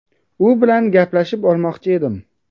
U bilan gaplashib olmoqchi edim.